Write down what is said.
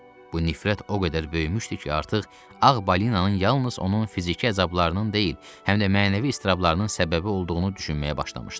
Bu nifrət o qədər böyümüşdü ki, artıq Ağ Balinanın yalnız onun fiziki əzablarının deyil, həm də mənəvi iztirablarının səbəbi olduğunu düşünməyə başlamışdı.